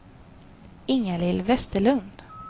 Ingalill Vesterlund